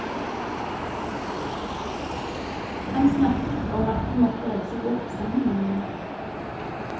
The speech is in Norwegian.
Han snakket om at de måtte reise bort sammen igjen.